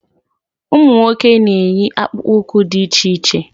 Ụmụ nwoke na-eyi akpụkpụụkwụ dị iche iche